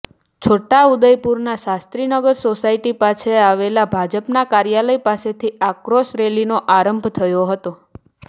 છોટાઉદેપુરના Shastrinagar society પાસે આવેલા ભાજપા કાર્યાલય પાસેથી આક્રોશ રેલીનો આરંભ થયો હતો